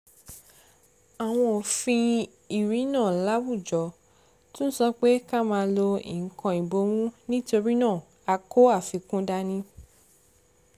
àwọn òfin ìrìnnà láwùjọ tún sọ pé ká máa lo nǹkan ìbomú nítorí náà a kó àfikún dání